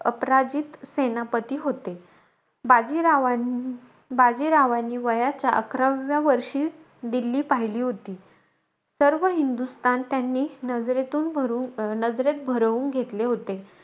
अपराजित सेनापती होते. बाजीरावां बाजीरावांनी, वयाच्या अकराव्या वर्षी दिल्ली पहिली होती. सर्व हिंदुस्थान त्यांनी नजरेतून नजरेत भरवून घेतले होते.